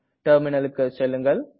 Terminalக்கு செல்லுங்கள்